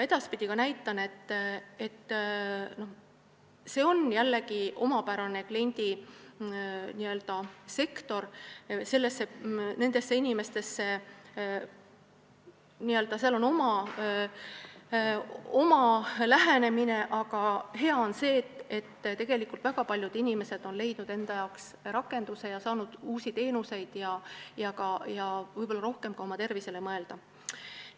See on jällegi omapärane kliendisektor, neile on vaja oma lähenemist, aga hea on see, et väga paljud inimesed on leidnud endale rakenduse ja saanud uusi teenuseid ning võib-olla saavad ka rohkem oma tervisele mõelda.